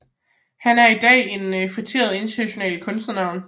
Han er i dag et feteret internationalt kunstnernavn